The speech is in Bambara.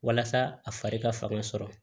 Walasa a fari ka fanga sɔrɔ